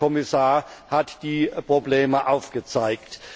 der Herr Kommissar hat die Probleme aufgezeigt.